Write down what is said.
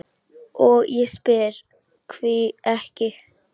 og ég spyr: hví ekki?